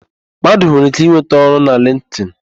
Mmadụ nwere íké ịnweta ọrụ na lịnktịn.